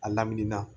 A lamini na